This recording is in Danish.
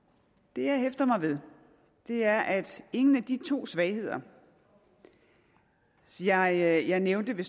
det jeg hæfter mig ved er at ingen af de to svagheder som jeg jeg nævnte ved